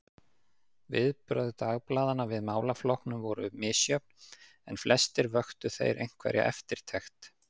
Viðbrögð dagblaðanna við málaflokkunum voru misjöfn, en flestir vöktu þeir einhverja eftirtekt.